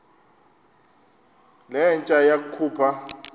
le nja yakhupha